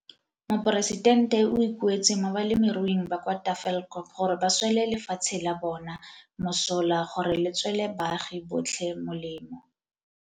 Moporesitente o ikuetse mo balemiruing ba kwa Tafelkop gore ba swele lefatshe la bona mosola gore le tswele baagi botlhe molemo.